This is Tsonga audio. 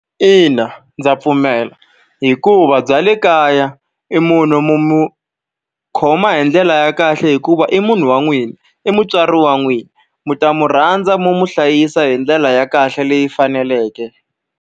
Ina ndza pfumela. Hikuva bya le kaya i munhu mi n'wi khoma hi ndlela ya kahle hikuva i munhu wa n'wina, i mutswari wa n'wina. Mi ta n'wi rhandza mi n'wi hlayisa hi ndlela ya kahle leyi faneleke.